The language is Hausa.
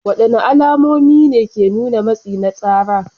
Wadanne alamomi ne ke nuna matsi na tsara?